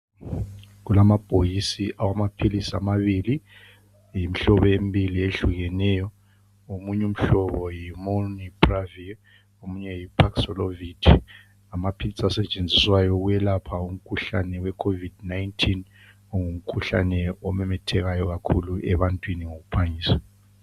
Kulamabhokisi awamaphilisi amabili yimihlobo embili eyehlukeneyo, omunye umhlobo yimonipravia omunye yiprasolovit. Ngamaphilisi asetshenziswayo ukwelapha imikhuhlane weCovid 19 ongumkhuhlane omemethekayo ebantwini ngokuphangisa.